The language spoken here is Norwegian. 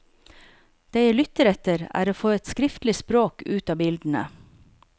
Det jeg lytter etter, er å få et skriftlig språk ut av bildene.